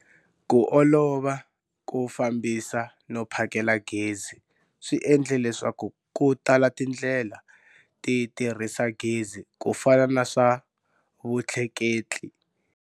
Ku olova ko fambisa no phakela gezi swi endle leswaku ku tala tindlela ti tirhisa gezi ku fana na swa vutleketli,